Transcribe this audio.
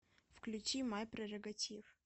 включи май прерогатив